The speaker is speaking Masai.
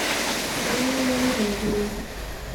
kainyio ing'orita teine